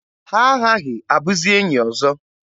Ha aghaghị abụzi enyi ọzọ.